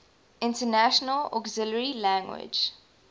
international auxiliary language